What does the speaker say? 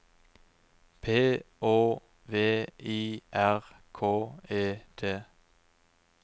P Å V I R K E T